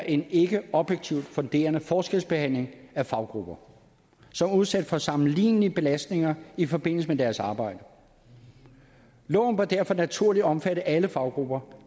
en ikke objektivt funderet forskelsbehandling af faggrupper som er udsat for sammenlignelige belastninger i forbindelse med deres arbejde loven bør derfor naturligt omfatte alle faggrupper